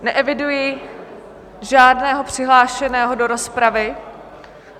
Neeviduji žádného přihlášeného do rozpravy.